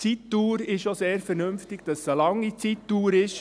Zur Zeitdauer: Es ist auch sehr vernünftig, dass es eine lange Zeitdauer ist.